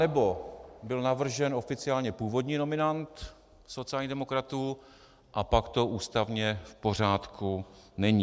Anebo byl navržen oficiálně původní nominant sociálních demokratů, a pak to ústavně v pořádku není.